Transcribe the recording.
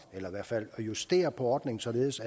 eller i hvert fald at justere på ordningen således